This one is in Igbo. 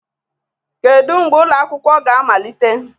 Kedu mgbe ụlọ akwụkwọ ga-amalite?